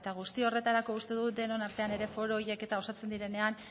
guzti horretarako uste dut denon artean ere foro horiek eta osatzen direnean